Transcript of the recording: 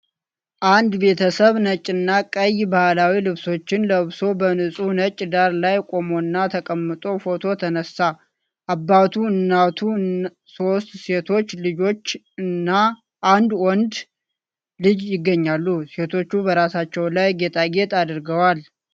አንድ ቤተሰብ ነጭና ቀይ ባህላዊ ልብሶችን ለብሶ በንጹሕ ነጭ ዳራ ላይ ቆሞና ተቀምጦ ፎቶ ተነሳ። አባቱ፣ እናቱ፣ ሶስት ሴቶች ልጆችና አንድ ወንድ ልጅ ይገኛሉ። ሴቶቹ በራሳቸው ላይ ጌጣጌጥ አድርገዋል።